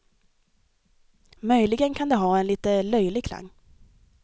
Möjligen kan det ha en lite löjlig klang.